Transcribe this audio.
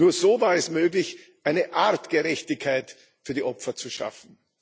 Nur so war es möglich, eine Art Gerechtigkeit für die Opfer zu schaffen.